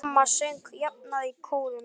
Mamma söng jafnan í kórum.